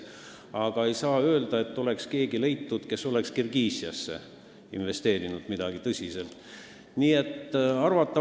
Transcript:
Aga ei saa öelda, et oleks leitud kedagi, kes oleks Eestist Kirgiisiasse tõsiselt investeerinud.